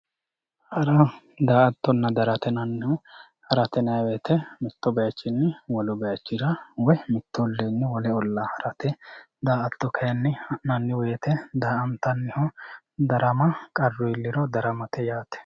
Hara, daa'atonna, darama yinannihu, harate yinayi woyite mitu bayichini wolu bayichira woyi mitu ollinni wolu olliirra harate yaate daa'ato kayinni ha'nanni woyite daa'antanniho, darama qaru iiliro daramate yaate